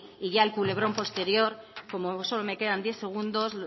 y ya el culebrón posterior como solo me quedan diez segundos